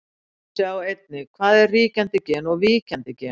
Sjá einnig: Hvað er ríkjandi gen og víkjandi gen?